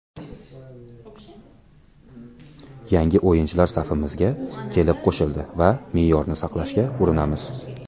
Yangi o‘yinchilar safimizga kelib qo‘shildi va me’yorni saqlashga urinamiz.